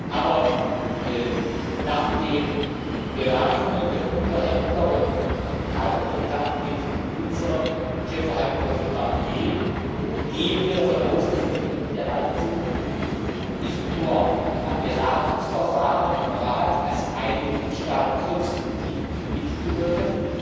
Aber nach den Beratungen der Unterhändler und meinem Kontakt mit unserem Chefverhandler Michel Barnier gehen wir davon aus, dass die Briten bereit sind, nicht nur am Beratungsverfahren im Rat als ein Mitgliedstaat konstruktiv mitzuwirken,